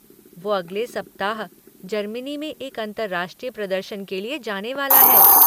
वो अगले सप्ताह जर्मनी में एक अंतर्राष्ट्रीय प्रदर्शन के लिए जाने वाला है।